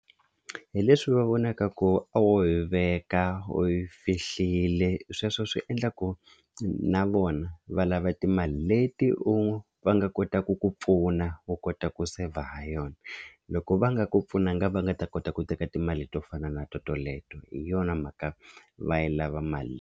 Hi leswi va vonaka ku a wo yi veka u yi fihliwile sweswo swi endla ku na vona va lava timali leti u va nga kotaka ku pfuna u kota ku saver ha yona loko va nga ku pfunanga va nga ta kota ku teka timali to fana na toleto hi yona mhaka va yi lava mali.